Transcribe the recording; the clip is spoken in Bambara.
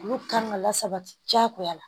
Olu kan ka lasabati diyagoya